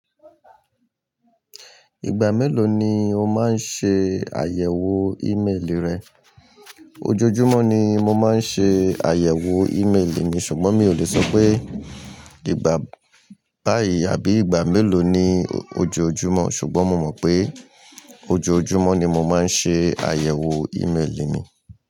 Ìgbà mélòó ni o máa ń ṣe àyẹ̀wò ímeèlì rẹ? Ojoojúmọ́ ni mo máa ń ṣe àyẹ̀wò ímeèlì mi, ṣùgbọ́n mi ò lè sọ pé ìgbà báyìí àbí ìgbà mélòó ni ojoojúmọ́, ṣùgbọ́n mo mọ̀ pé ojoojúmọ́ ni mo máa ń ṣe àyẹ̀wò ímeèlì mi.